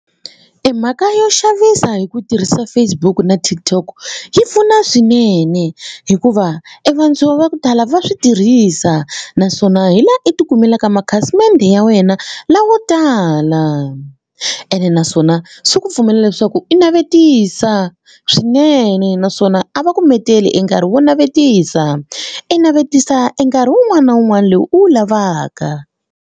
E mhaka yo xavisa hi ku tirhisa Facebook na TikTok yi pfuna swinene hikuva e vantshwa va ku tala va swi tirhisa naswona hi laha u ti kumelaka makhasimende ya wena lawo tala ene naswona swi ku pfumela leswaku i navetisa swinene naswona a va ku menteli e nkarhi wo navetisa i navetisa e nkarhi wun'wana na wun'wana lowu u wu lavaka.